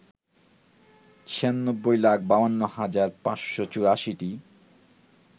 ৯৬ লাখ ৫২ হাজার ৫৮৪টি